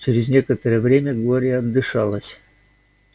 через некоторое время глория отдышалась